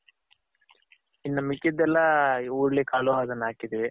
ಇನ್ ಮಿಕ್ಕಿದೆಲ್ಲ ಇ ಹುರುಳಿಕಾಳು ಅದನ್ನ ಹಾಕಿದಿವಿ.